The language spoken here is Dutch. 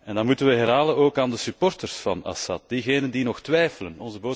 Dat moeten wij herhalen, ook aan de supporters van Assad, diegenen die nog twijfelen.